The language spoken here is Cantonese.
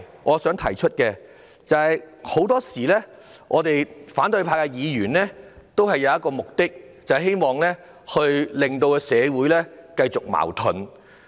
我想提出的另一個問題是，反對派的議員很多時候有意令社會矛盾繼續下去。